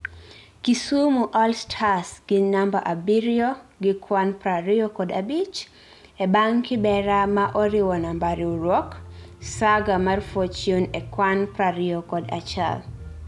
Kisumu All Stars gin namba abiriyo gi kwan prariyo kod abich ebang Kibera ma oriwo namba riwruok saga mar fortune e kwan prariyokod achiel